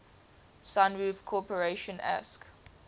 sunroof corporation asc